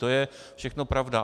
To je všechno pravda.